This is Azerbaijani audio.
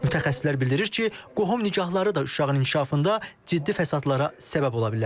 Mütəxəssislər bildirir ki, qohum nigahları da uşağın inkişafında ciddi fəsadlara səbəb ola bilər.